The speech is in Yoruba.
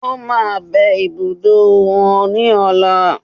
Ó máa bẹ ibùdó wò ní ọ̀la